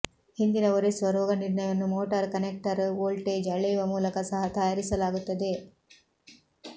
ಹಿಂದಿನ ಒರೆಸುವ ರೋಗನಿರ್ಣಯವನ್ನು ಮೋಟಾರ್ ಕನೆಕ್ಟರ್ ವೋಲ್ಟೇಜ್ ಅಳೆಯುವ ಮೂಲಕ ಸಹ ತಯಾರಿಸಲಾಗುತ್ತದೆ